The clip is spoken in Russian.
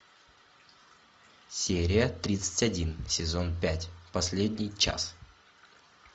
серия тридцать один сезон пять последний час